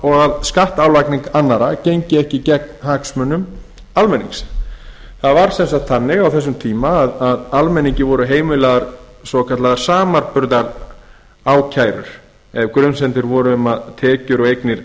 og að skattálagning annarra gengi ekki gegn hagsmunum almennings það var sem sagt þannig á þessum tíma að almenningi voru heimilaðar svokallaðar samanburðarákærur ef grunsemdir voru um að tekjur og eignir